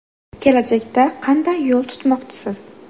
Kelajakda qanday yo‘l tutmoqchisiz?